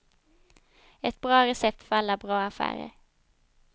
Ett bra recept för alla bra affärer.